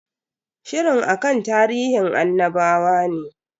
Shirin akan tarihin annabawa ne.